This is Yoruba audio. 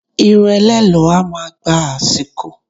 Irun ẹlẹ́lọ̀ọ́ a máa gba àsìkò